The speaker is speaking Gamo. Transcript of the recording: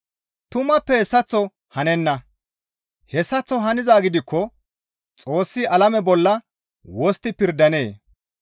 Tumappe hessaththo hanenna; hessaththo hanizaa gidikko Xoossi alame bolla wostti pirdandee?